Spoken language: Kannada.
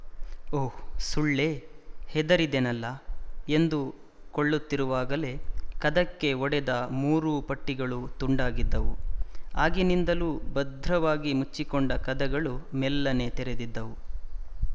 ಓಹ್ ಸುಳ್ಳೇ ಹೆದರಿದೆನಲ್ಲ ಎಂದುಕೊಳ್ಳುತ್ತಿರುವಾಗಲೇ ಕದಕ್ಕೆ ಒಡೆದ ಮೂರೂ ಪಟ್ಟಿಗಳೂ ತುಂಡಾಗಿದ್ದವು ಆಗಿನಿಂದಲೂ ಭದ್ರವಾಗಿ ಮುಚ್ಚಿಕೊಂಡ ಕದಗಳು ಮೆಲ್ಲನೆ ತೆರೆದಿದ್ದವು